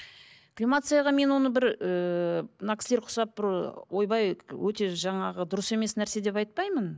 кремацияға мен оны бір ыыы мына кісілер ұқсап бір ойбай өте жаңағы дұрыс емес нәрсе деп айтпаймын